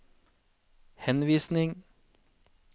henvisning